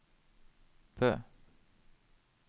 Bø